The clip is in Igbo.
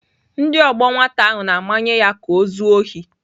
Ndị ọgbọ nwata ahụ na-amanye ya ka o zuo ohi.